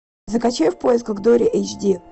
закачай в поисках дори эйч ди